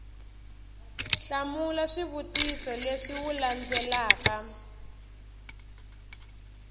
hlamula swivutiso leswi wu landzelaka